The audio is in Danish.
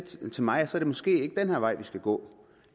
mig at så er det måske ikke den her vej vi skal gå